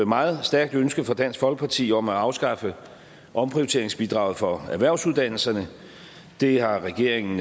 meget stærkt ønske fra dansk folkeparti om at afskaffe omprioriteringsbidraget for erhvervsuddannelserne det har regeringen